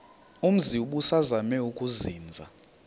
umzi ubusazema ukuzinza